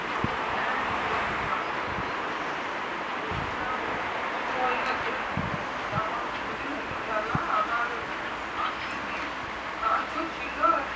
হ্যাঁ এই যো একটু মাঠেই বসে আছি আর এই tournament টা শুরু হয়েই গেছে এখন দুদিন হলো খেলা আবার আজকে নেই তো আজকেও ছিল